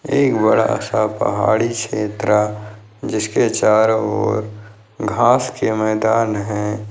एक बड़ा सा पहाड़ी क्षेत्र है जिसके चारों और घास के मैदान है।